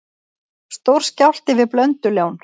Stór skjálfti við Blöndulón